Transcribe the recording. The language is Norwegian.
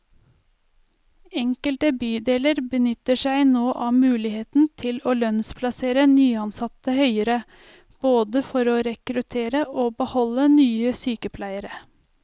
Enkelte bydeler benytter seg nå av muligheten til å lønnsplassere nyansatte høyere, både for å rekruttere og beholde nye sykepleiere.